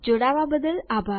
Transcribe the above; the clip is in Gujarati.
જોડાવા બદ્દલ આભાર